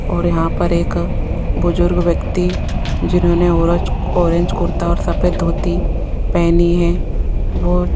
और यहां पर एक बुजुर्ग व्यक्ति जिन्होंने ऑरेज ऑरेंज कुर्ता और सफेद धोती पहनी है --